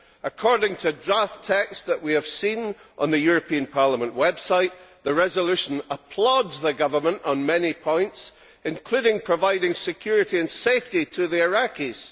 According to draft texts that we have seen on the European Parliament website, the resolution applauds the government on many points, including providing security and safety to the Iraqis.